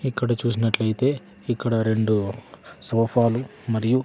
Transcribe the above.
ఇక్కడ చూసినట్లయితే ఇక్కడ రెండు సోఫాలు మరియు--